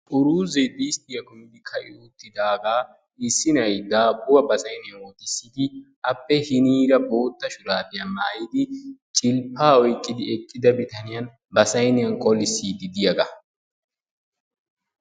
Uruzze disttiyaa kummidi ka"i uttidaagaa issi nay daabuwaa ba sayniyaan wottissidi appe hiniraa boota shurabiyaa maayyida biyaaniyaan cilppa oyqqidi eqqida bitaaniyaan ba saynniyaan qolisside diyaaga.